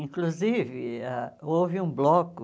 Inclusive, ah houve um bloco